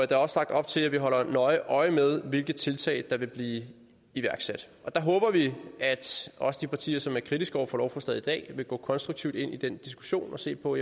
der er også lagt op til at vi holder nøje øje med hvilke tiltag der vil blive iværksat og der håber vi at også de partier som er kritiske over for lovforslaget i dag vil gå konstruktivt ind i den diskussion og se på